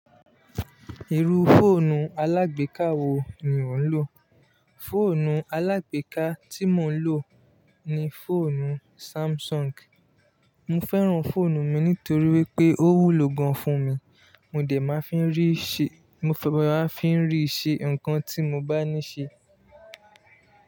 Irú fóònù alágbèká wo ni ò ń lò? Fóònù alágbèká tí mò ń lò ni fóònù Samsung. Mò fẹ́ràn fóònù mi nítorí wípé ó wúlò gan fún mi. Mò dẹ̀ máa fi ń rí ìṣe, mo fi máa ń rí ìṣe nǹkan tí mo bá níṣe.